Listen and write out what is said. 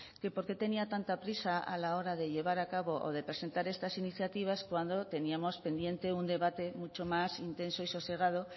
que por qué tenía tanta prisa a la hora de llevar a cabo o de presentar estas iniciativas cuando teníamos pendiente un debate mucho más intenso y sosegado